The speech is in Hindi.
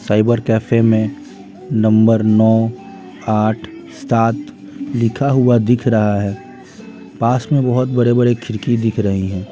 साइबर कैफे में नंबर नौ आठ सात लिखा हुआ दिख रहा है पास में बहुत बड़े-बड़े खिड़की दिख रही हैं।